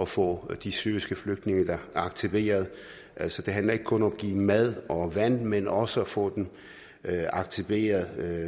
at få de syriske flygtninge aktiveret altså det handler ikke kun om at give dem mad og vand men også om at få dem aktiveret